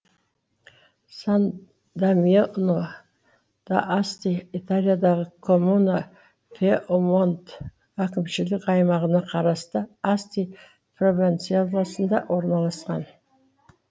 сан дамьяно д асти италиядағы коммуна пьемонт әкімшілік аймағына қарасты асти провинциясында орналасқан